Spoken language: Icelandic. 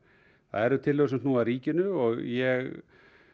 það eru tillögur sem snúa að ríkinu og ég